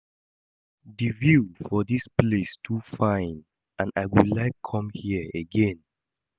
The view for dis place too fine and I go like come here again